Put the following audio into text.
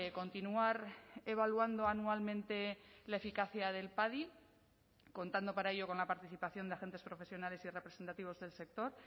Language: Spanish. continuar evaluando anualmente la eficacia del padi contando para ello con la participación de agentes profesionales y representativos del sector